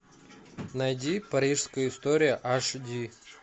найди парижская история аш ди